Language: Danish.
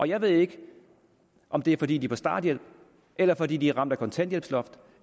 jeg ved ikke om det er fordi de er på starthjælp eller fordi de er ramt af kontanthjælpsloftet